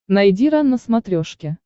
найди рен на смотрешке